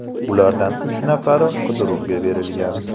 Ulardan uch nafari qidiruvga berilgan.